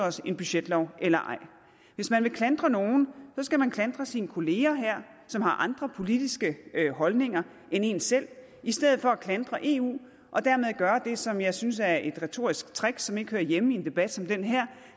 en budgetlov eller ej hvis man vil klandre nogen skal man klandre sine kolleger her som har andre politiske holdninger end en selv i stedet for at klandre eu og dermed gøre det som jeg synes er et retorisk trick som ikke hører hjemme i en debat som den her